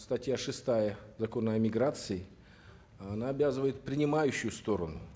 статья шестая закона о миграции она обязывает принимающую сторону